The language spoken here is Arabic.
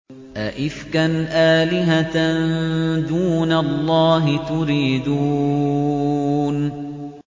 أَئِفْكًا آلِهَةً دُونَ اللَّهِ تُرِيدُونَ